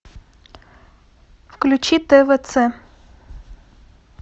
включи твц